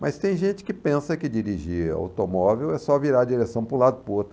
Mas tem gente que pensa que dirigir automóvel é só virar a direção para um lado ou para o outro.